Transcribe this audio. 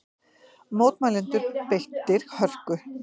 Mótmælendur beittir hörku